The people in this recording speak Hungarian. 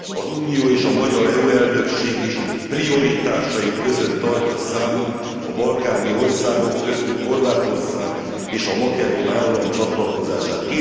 Az Unió és a magyar EU elnökség is prioritásai között tartja számon a balkáni országok, köztük Horvátország és a makedón állam csatlakozását.